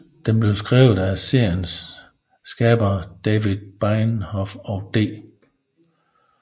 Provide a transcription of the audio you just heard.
Den blev skrevet af seriens skabere David Benioff og D